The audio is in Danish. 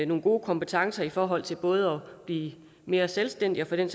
nogle gode kompetencer i forhold til både at blive mere selvstændige og for den